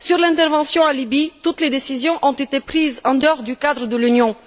Concernant l'intervention en Libye, toutes les décisions ont été prises en dehors du cadre de l'Union.